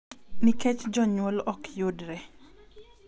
Nikech jonyuol ok yudre.